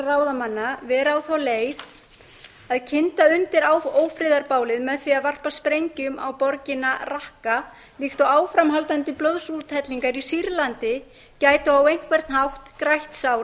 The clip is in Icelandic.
ráðamanna vera á þá leið að kynda undir ófriðarbálið með því að varpa sprengjum á borgina raqqa líkt og áframhaldandi blóðsúthellingar í sýrlandi gætu á einhvern hátt grætt sár